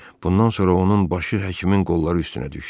Bundan sonra onun başı həkimin qolları üstünə düşdü.